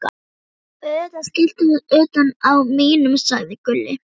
Auðvitað skiltið utan á mínum, sagði Gulli.